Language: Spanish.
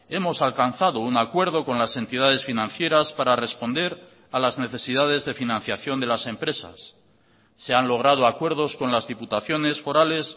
hemos alcanzado un acuerdo con las entidades financieras para responder a las necesidades de financiación de las empresas se han logrado acuerdos con las diputaciones forales